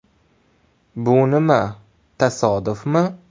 “Bu nima, tasodifmi?